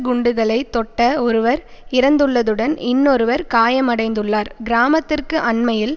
குண்டுகளை தொட்ட ஒருவர் இறந்துள்ளதுடன் இன்னொருவர் காயமடைந்துள்ளார் கிராமத்திற்கு அண்மையில்